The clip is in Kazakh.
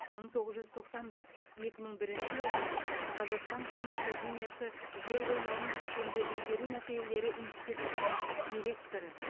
мың тоғыз жүз тоқсан бір екі мың бірінші жылдары қазақстан ғылым академиясы жер қойнауын кешенді игеру мәселелері институтының директоры